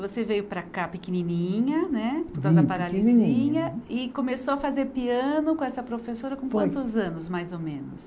Você veio para cá pequenininha né, por causa da paralisia, e começou a fazer piano com essa professora com quantos anos, mais ou menos?